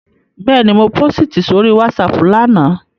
Bẹ́ẹ̀ni, mo pósìtì sórí WhatsApp lánàá